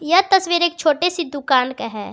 यह तस्वीर एक छोटे से दुकान का है।